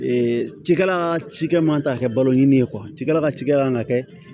cikɛla cikɛ man kan ka kɛ balo ɲini ye cikɛla ka cikɛ man ka kɛ